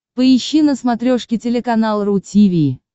поищи на смотрешке телеканал ру ти ви